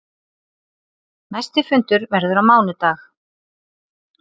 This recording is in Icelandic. Næsti fundur verður á mánudag.